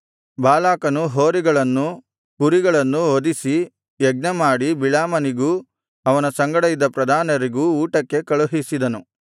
ಬಾಲಾಕನು ಹೋರಿಗಳನ್ನೂ ಕುರಿಗಳನ್ನೂ ವಧಿಸಿ ಯಜ್ಞಮಾಡಿ ಬಿಳಾಮನಿಗೂ ಅವನ ಸಂಗಡ ಇದ್ದ ಪ್ರಧಾನರಿಗೂ ಊಟಕ್ಕೆ ಕಳುಹಿಸಿದನು